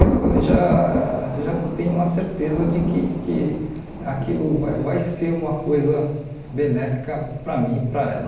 eu já já tenho uma certeza de que que aquilo vai vai ser uma coisa benéfica para mim e para ela.